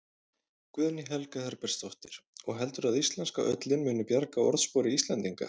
Guðný Helga Herbertsdóttir: Og heldurðu að íslenska ullin muni bjarga orðspori Íslendinga?